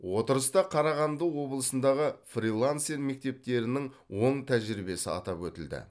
отырыста қарағанды облысындағы фрилансер мектептерінің оң тәжірибесі атап өтілді